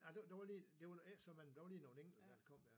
Ja det det var lige det var nu ikke så man der var lige nogle enkelte dér der kom